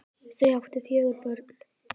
Þau áttu fjögur börn